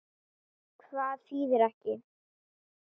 Hvað þýðir ekki?